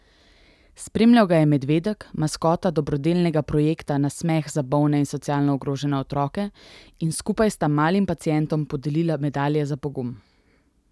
Spremljal ga je medvedek, maskota dobrodelnega projekta Nasmeh za bolne in socialno ogrožene otroke, in skupaj sta malim pacientom podelila medalje za pogum.